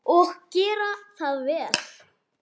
Og gera það vel.